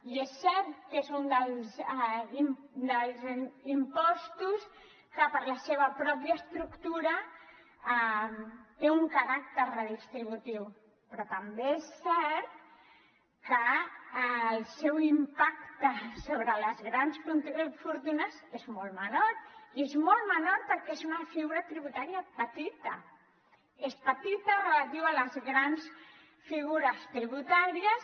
i és cert que és un dels impostos que per la seva mateixa estructura té un caràcter redistributiu però també és cert que el seu impacte sobre les grans fortunes és molt menor i és molt menor perquè és una figura tributària petita és petita relativa a les grans figures tributàries